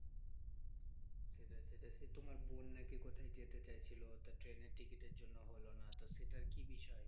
সেটাই সেটাই সে তোমার বোন না কে কোথায় যেতে চাইছিলো? তো ট্রেনের টিকিটের জন্য হলো না। তো সেটার কি বিষয়?